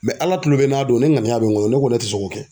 ALA kulu bɛ n a don ne ŋaniya bɛ n kɔnɔ ne ko n ko ne ti sɔn k'o kɛ.